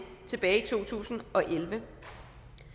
tilbage i to tusind og elleve et